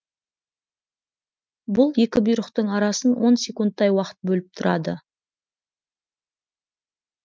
бұл екі бұйрықтың арасын он секундтай уақыт бөліп тұрады